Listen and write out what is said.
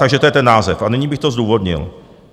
Takže to je ten název, a nyní bych to zdůvodnil.